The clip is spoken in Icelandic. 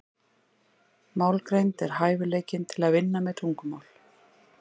Málgreind er hæfileikinn til að vinna með tungumál.